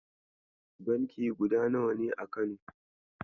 Banki guda nawa ne a Kano?